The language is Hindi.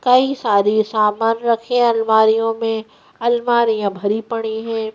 कई सारे सामान रखे अलमारियों में अलमारियों भरी पड़ी है।